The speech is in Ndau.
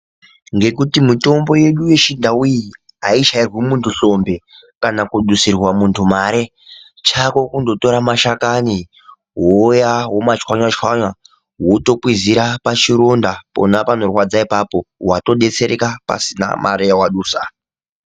Ngekuti mitombo yedu yechindauyi iyichairwi munthu hlombe kana kudusirwa munthu mare. Chako kundotora mashakani ,wouya womachwanya-chwanya wotokwizira pachironda pona panorwadza ipapo. Wato detsereka pasina mare yawadusa.